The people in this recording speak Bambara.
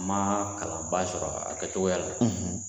N ma kalan ba sɔrɔ a kɛcogoya la